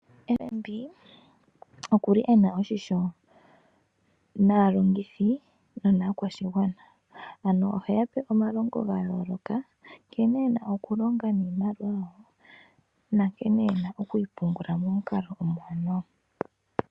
FNB okuli ena oshisho naalongithi nonaakwashigwana. Ano oheya pe omalongo ga yooloka, nkene yena oku longa niimaliwa yawo. Nankene yena okuyi pungula momukalo omuwanawa